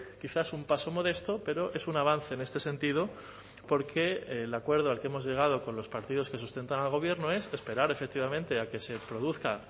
quizás un paso modesto pero es un avance en este sentido porque el acuerdo al que hemos llegado con los partidos que sustentan al gobierno es esperar efectivamente a que se produzca